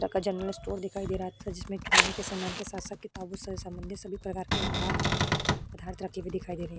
तरह का general store दिखाई दे रहा था जिसमें किराने के सामान के साथ साथ किताबों से सम्बंधित सभी प्रकार के उपहार दिखाई दे रहे हैं।